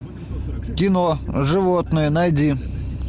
кино животное найди